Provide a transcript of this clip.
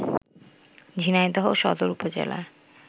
ঝিনাইদহ সদর উপজেলার